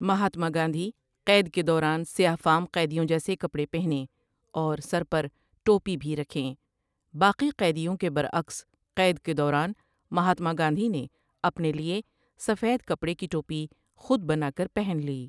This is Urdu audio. مہاتما گاندھی قید کے دوران سیاہ فام قیدیوں جیسے کپڑے پہنیں اور سر پر ٹوپی بھی رکھیں باقی قیدیوں کے برعکس قید کے دوران مہاتما گاندھی نے اپنے لیے سفید کپڑے کی ٹوپی خود بنا کر پہن لی